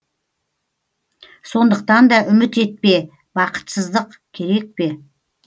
сондықтан да үміт етпе бақытсыздық керек пе